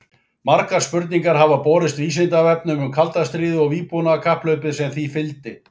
Margar spurningar hafa borist Vísindavefnum um kalda stríðið og vígbúnaðarkapphlaupið sem því fylgdi.